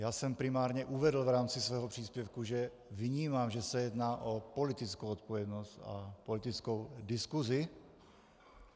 Já jsem primárně uvedl v rámci svého příspěvku, že vnímám, že se jedná o politickou odpovědnost a politickou diskuzi.